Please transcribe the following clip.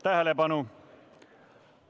Tähelepanu!